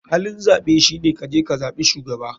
Halin zaɓe shine kaje kazaɓi shugaba.